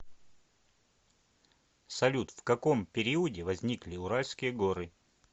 салют в каком периоде возникли уральские горы